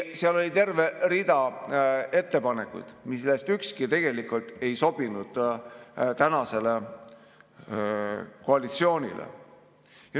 Seal oli terve rida ettepanekuid, millest ükski ei sobinud tänasele koalitsioonile.